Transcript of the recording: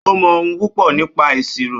Ó mọ ohun púpọ̀ nípa ìṣirò.